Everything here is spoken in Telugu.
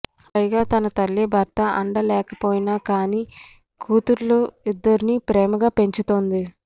పైగా తన తల్లి భర్త అండ లేకపోయినా కానీ కూతుళ్లు ఇద్దరినీ ప్రేమగా పెంచుతుంది